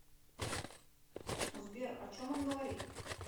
сбер о чем он говорит